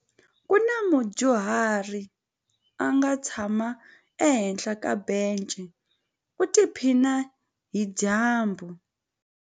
Ku na mudyuhari a nga tshama ehenhla ka bence u tiphina hi dyambu.